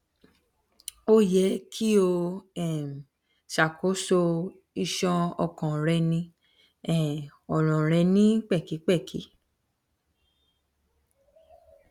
o yẹ ki o um ṣakoso iṣan ọkàn rẹ ni um ọran rẹ ni pẹkipẹki